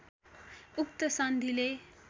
उक्त सन्धिले